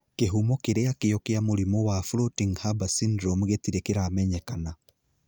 Kĩhumo kĩrĩa kio kĩa mũrimũ wa Floating Harbor syndrome gĩtirĩ kĩramenyekana